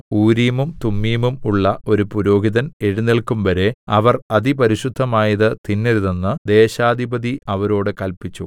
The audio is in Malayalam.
ഊരീമും തുമ്മീമും ഉള്ള ഒരു പുരോഹിതൻ എഴുന്നേല്ക്കുംവരെ അവർ അതിപരിശുദ്ധമായത് തിന്നരുതെന്ന് ദേശാധിപതി അവരോട് കല്പിച്ചു